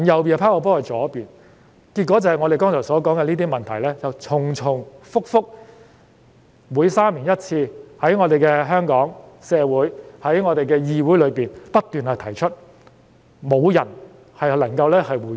結果便是我剛才提到的問題重重複複，每3年1次在香港社會和議會中被提出，但卻沒有人能夠回應。